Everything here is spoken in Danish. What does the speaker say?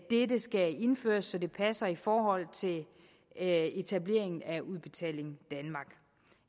dette skal indføres så det passer i forhold til etableringen af udbetaling danmark